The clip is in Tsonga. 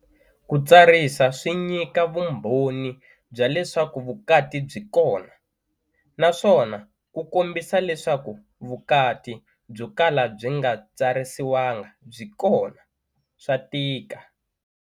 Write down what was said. Ku tsarisa swi nyika vumbhoni bya leswaku vukati byi kona, naswona ku kombi sa leswaku vukati byo kala byi nga tsarisiwanga byi kona swa tika.